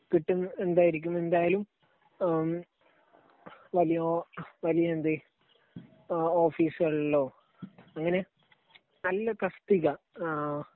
കിട്ടുന്നത് എന്തായിരിക്കും, എന്തായാലും വലിയ വലിയ എന്ത് ഓഫിസുകളിലോ അങ്ങനെ നല്ല തസ്തിക